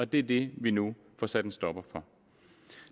det er det vi nu får sat en stopper for